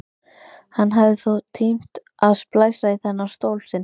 Hann hafði þó tímt að splæsa í þennan stól sinn.